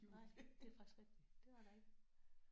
Nej det er faktisk rigtigt. Det var der ikke